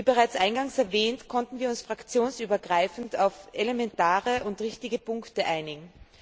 Wie bereits eingangs erwähnt, konnten wir uns fraktionsübergreifend auf elementare und richtige Punkte einigen.